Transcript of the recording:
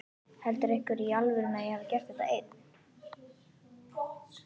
Heldur einhver í alvörunni að ég hafi gert þetta einn?